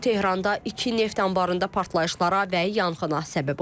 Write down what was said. Bu Tehranda iki neft anbarında partlayışlara və yanğına səbəb olub.